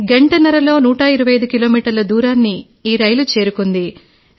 గంటన్నరలో 125 కిలోమీటర్ల దూరాన్ని ఈ రైలు చేరుకుంది